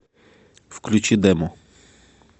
включи демо